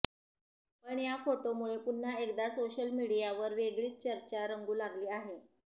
पण या फोटोमुळे पुन्हा एकदा सोशल मीडियावर वेगळीच चर्चा रंगू लागली आहे